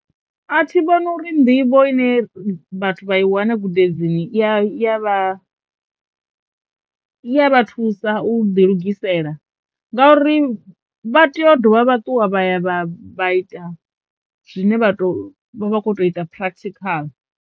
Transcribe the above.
A thi vhoni uri nḓivho ine vhathu vha i wana gudedzini i ya i ya vha i ya vha thusa u ḓi lugisela ngauri vha tea u dovha vha ṱuwa vha ya vha ita zwine vha to vha kho ita practical.